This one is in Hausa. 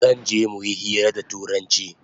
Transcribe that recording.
Zanje muyi hira da turanchi